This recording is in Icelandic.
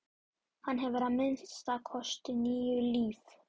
Hann hefur að minnsta kosti níu líf.